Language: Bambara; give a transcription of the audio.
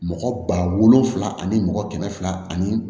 Mɔgɔ ba wolonfila ani mɔgɔ kɛmɛ fila ani